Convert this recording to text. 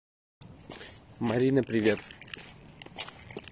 марина привет